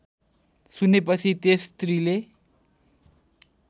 सुनेपछि त्यस स्त्रीले